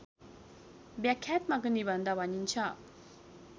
व्याख्यात्मक निबन्ध भनिन्छ